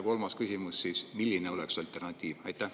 Ja kolmas küsimus: milline oleks alternatiiv?